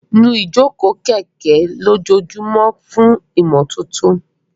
Nu ìjókòó kẹ̀kẹ́ lójoojúmọ́ fún ìmọ́tótó.